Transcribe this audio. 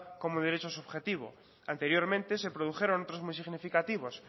como un derecho subjetivo anteriormente se produjeron otros muy significativos